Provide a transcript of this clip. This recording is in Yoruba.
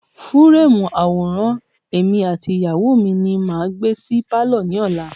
Fúúrèmù àwòrán èmi àti ìyàwó mi ni màá gbé sí pálọ̀ mi lọ́la.